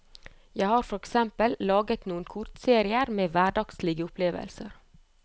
Jeg har for eksempel laget noen kortserier med hverdagslige opplevelser.